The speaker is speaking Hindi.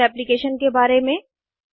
जमोल एप्लीकेशन के बारे में